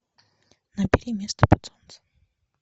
набери место под солнцем